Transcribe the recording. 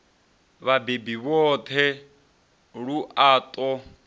vhabebi vhoṱhe lu a ṱo